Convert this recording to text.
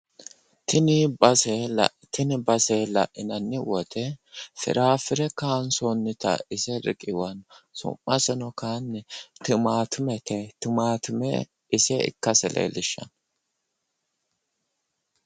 Tini base la'inanni woyite firaaffire kayinsoonnita ise riqiwanno su'maseno kayiinni timaatimete yinanni. ise ikkase leellishshanno.